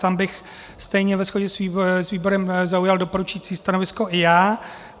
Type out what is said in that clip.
Tam bych stejně ve shodě s výborem zaujal doporučující stanovisko i já.